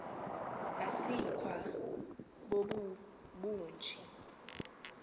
asikwa bobu bunje